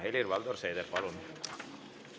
Helir-Valdor Seeder, palun!